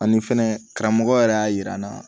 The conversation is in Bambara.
Ani fɛnɛ karamɔgɔ yɛrɛ y'a yira n na